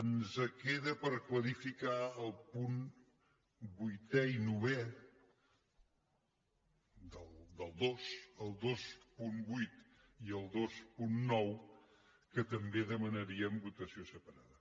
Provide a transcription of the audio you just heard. ens queden per clarificar els punts vuitè i novè del dos el vint vuit i el vint nou que també en demanaríem votació separada